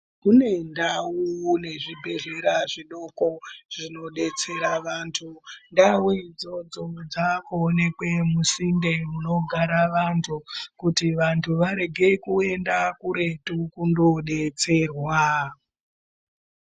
Kune ndau nezvibhedhlera zvidoko zvinodetsera vantu ndau idzodzo dzakuonekwe musinde munogara vantu kuti vantu varege kuenda kuretu kundodetserwa.